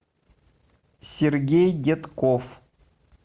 сергей детков